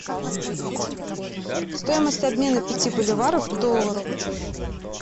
стоимость обмена пяти боливаров к доллару